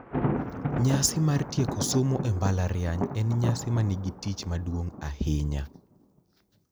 Nyasi mar tieko somo e mbalariany en nyasi ma nigi tich maduong’ ahinya.